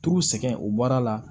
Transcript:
T'u sɛgɛn u baara la